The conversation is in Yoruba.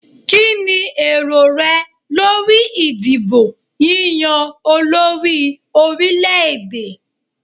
Kíni èrò rẹ lórí ìdìbò yíyá olórí orílè-èdè.